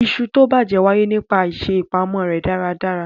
Iṣu tó bàjẹ́ wáyé nípa àìṣè ìpamọ́ rẹ̀ dáradára.